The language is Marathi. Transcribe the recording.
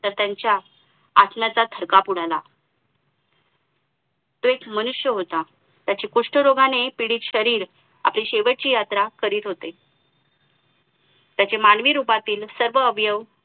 तर त्यांच्या आत्म्याचा थरकाप उडाला तो एक मनुष्य होता त्याचे कुष्ठरोगाने पीडित शरीर आपली शेवटची यात्रा करीत होते त्याची मानवी रूपातील सर्व अवयव